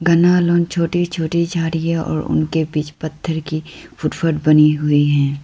घना छोटी छोटी झाड़ियां और उनके बीच पत्थर की फुटपाथ बनी हुई है।